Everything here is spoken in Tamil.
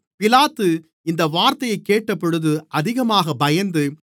பிலாத்து இந்த வார்த்தையைக் கேட்டபொழுது அதிகமாக பயந்து